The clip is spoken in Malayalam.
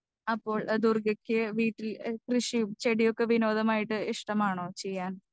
സ്പീക്കർ 2 അപ്പോൾ ദുർഗയ്ക്ക് വീട്ടിൽ എഹ് കൃഷിയും ചെടിയൊക്കെ വിനോദമായിട്ട് ഇഷ്ടമാണോ ചെയ്യാൻ?